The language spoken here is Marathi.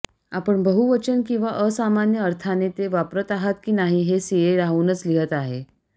आपण बहुवचन किंवा असामान्य अर्थाने ते वापरत आहात की नाही हे सिए राहूनच लिहीत आहे